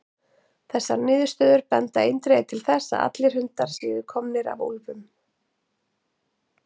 Þessar niðurstöður benda eindregið til þess að allir hundar séu komnir af úlfum.